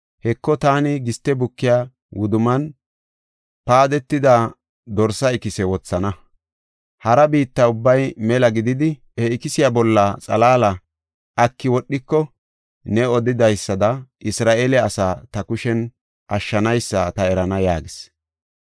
Heko, taani giste bukiya wudumman paadetida dorse ikise wothana. Hara biitta ubbay mela gididi he ikisiya bolla xalaala aki wodhiko ne odidaysada Isra7eele asaa ta kushen ashshanaysa ta erana” yaagis.